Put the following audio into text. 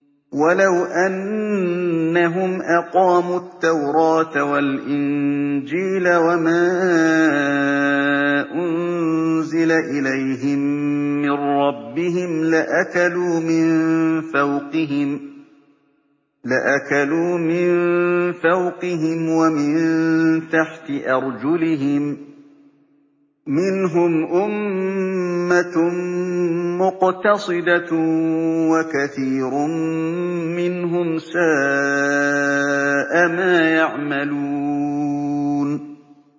وَلَوْ أَنَّهُمْ أَقَامُوا التَّوْرَاةَ وَالْإِنجِيلَ وَمَا أُنزِلَ إِلَيْهِم مِّن رَّبِّهِمْ لَأَكَلُوا مِن فَوْقِهِمْ وَمِن تَحْتِ أَرْجُلِهِم ۚ مِّنْهُمْ أُمَّةٌ مُّقْتَصِدَةٌ ۖ وَكَثِيرٌ مِّنْهُمْ سَاءَ مَا يَعْمَلُونَ